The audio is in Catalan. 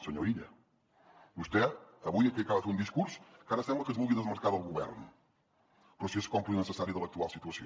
senyor illa vostè avui aquí acaba de fer un discurs que ara sembla que es vulgui desmarcar del govern però si és còmplice necessari de l’actual situació